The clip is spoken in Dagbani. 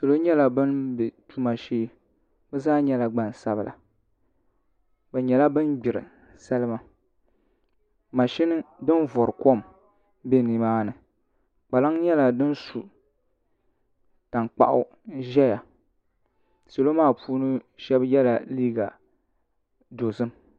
Salo nyɛla bin bɛ tuma shee bi zaa nyɛla gbansabila bi nyɛla bin gbiri salima mashini din vori kom bɛ nimaani kpalaŋ nyɛla din su tankpaɣu ʒɛ nimaani salo maa puuni shab yɛla liiga dozim